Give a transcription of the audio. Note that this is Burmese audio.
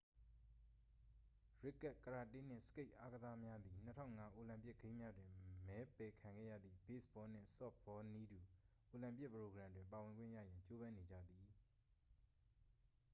ရစ်ကတ် ကရာတေးနှင့် စကိတ်အာကစားများသည် 2005 အိုလံပစ်ဂိမ်းများတွင် မဲပယ်ခံခဲ့ရသည့် ဘေ့စ်ဘောနှင့် ဆော့ဖ်ဘောနည်းတူ အိုလံပစ်ပရိုဂရမ်တွင် ပါဝင်ခွင့်ရရန် ကြိုးပမ်းနေကြသည်